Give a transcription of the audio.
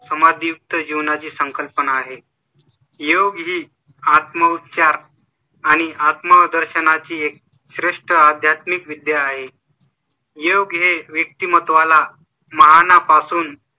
समाज युक्त जीवनाची संकल्पना आहे. योग ही आत्म उपचार आणि आत्म दर्शनाची एक श्रेष्ठ आध्यात्मिक विद्या आहे . योग हे व्यक्तिमत्त्वा ला महा ना पासून